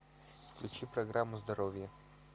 включи программу здоровье